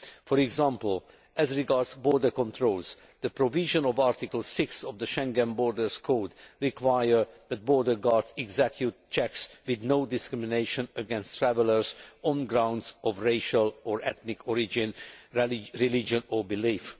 For example, as regards border controls, the provisions of Article 6 of the Schengen Borders Code require that border guards execute checks with no discrimination against travellers on grounds of racial or ethnic origin, religion or belief.